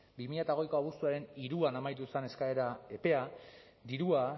bi mila hogeiko abuztuaren hiruan amaitu zen eskaera epea dirua